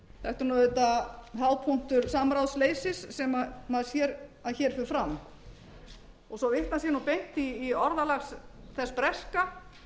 þetta er nú auðvitað hápunktur samráðsleysis sem maður sér að hér fer fram svo vitnað sé nú beint í orðalag þess breska